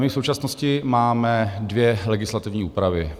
My v současnosti máme dvě legislativní úpravy.